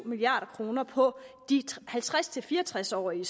milliard kroner på de halvtreds til fire og tres årige